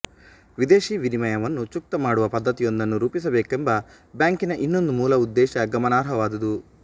ವಿದೇಶೀ ವಿನಿಮಯವನ್ನು ಚುಕ್ತಾ ಮಾಡುವ ಪದ್ಧತಿಯೊಂದನ್ನು ರೂಪಿಸಬೇಕೆಂಬ ಬ್ಯಾಂಕಿನ ಇನ್ನೊಂದು ಮೂಲ ಉದ್ದೇಶ ಗಮನಾರ್ಹವಾದುದು